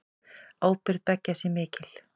Ábyrgð beggja sé mikil.